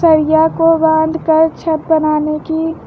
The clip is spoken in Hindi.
सरिया को बांधकर छत बनाने की--